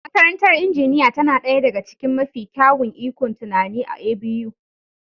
Makarantar injiniya tana ɗaya daga cikin mafi kyawun ikon tunani a A.B.U.